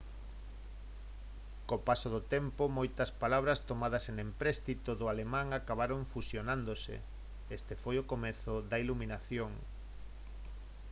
co paso do tempo moitas palabras tomadas en empréstito do alemán acabaron fusionándose este foi o comezo da iluminación